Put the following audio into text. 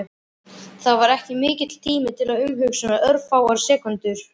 Það var ekki mikill tími til umhugsunar, örfáar sekúndur.